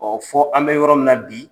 fɔ an be yɔrɔ min na bi